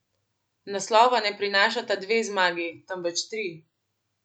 Naslova ne prinašata dve zmagi, temveč tri.